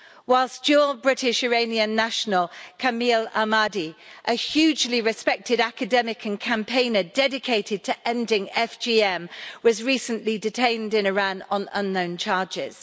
whilst dual British-Iranian national, Kamil Ahmadi a hugely respected academic and campaigner dedicated to ending FGM was recently detained in Iran on unknown charges.